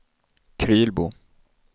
Krylbo